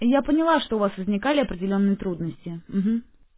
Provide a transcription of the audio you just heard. я поняла что у вас возникали определённые трудности